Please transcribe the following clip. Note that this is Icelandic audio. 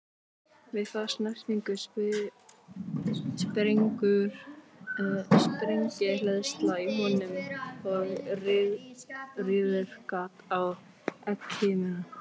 Við þá snertingu springur sprengihleðsla í honum og rýfur gat á egghimnuna.